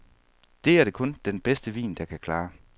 Det er det kun den bedste vin, der kan klare.